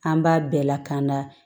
An b'a bɛɛ lakana